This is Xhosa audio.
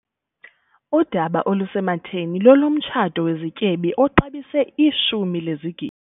Udaba olusematheni lolomtshato wezityebi oxabise ishumi lezigidi.